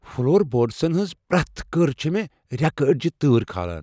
Floor بورڈسن ہنز پریتھ كٕر چھٗ مے٘ ریكہٕ اڈِجہِ تٲر كھاران ۔